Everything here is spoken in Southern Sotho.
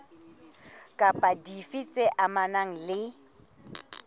kapa dife tse amanang le